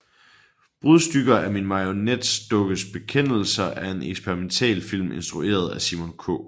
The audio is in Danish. Brudstykker af min marionetdukkes bekendelser er en eksperimentalfilm instrueret af Simon K